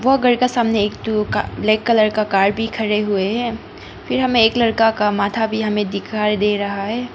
वह घर का सामने एक ठू का ब्लैक कलर का कार भी खड़े हुए है फिर हमें एक लड़का का माथा भी हमे दिखाई दे रहा है।